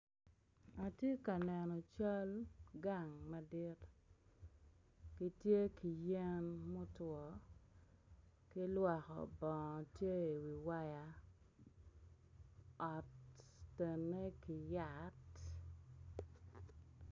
Atye ka neno cal gang madit ma tye ki yen mutwo kilwoko bongo ot otenne ki yat.